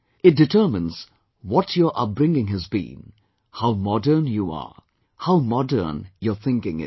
It determines what your upbringing has been, how modern you are, how modern your thinking is